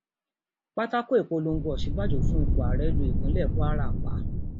pátákó ìpolongo òsínbàjò fún ipò ààrẹ lu ìpínlẹ kwara pa